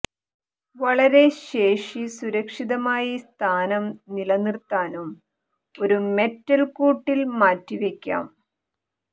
വളരെ ശേഷി സുരക്ഷിതമായി സ്ഥാനം നിലനിർത്താനും ഒരു മെറ്റൽ കൂട്ടിൽ മാറ്റിവയ്ക്കാം